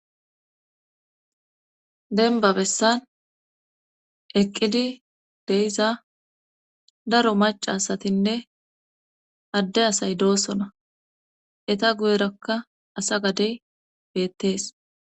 Denba bessan eqqidi deiza daro maca asatinne adde asay doosona eta guyerakka asa gadey beettees.